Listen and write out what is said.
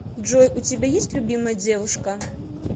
джой у тебя есть любимая девушка